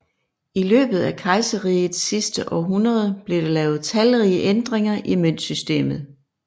I løbet af kejserrigets sidste århundreder blev der lavet talrige ændringer i møntsystemet